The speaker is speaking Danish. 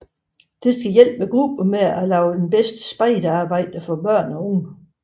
Det skal hjælpe grupperne med at lave det bedste spejderarbejde for børn og unge